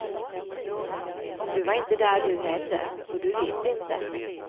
Du var inte där du heller, så du vet inte.